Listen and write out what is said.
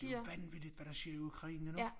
Det vanvittigt hvad der sker i Ukraine nu